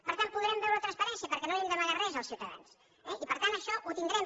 per tant podrem veure la transparència perquè no hem d’amagar res als ciutadans eh i per tant això ho tindrem